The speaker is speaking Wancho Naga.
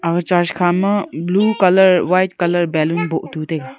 aga church khama blue colour white colour balloon boh tu taiga.